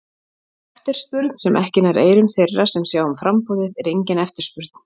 Eftirspurn sem ekki nær eyrum þeirra sem sjá um framboðið, er engin eftirspurn.